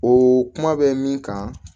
O kuma bɛ min kan